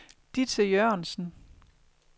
Ditte Jørgensen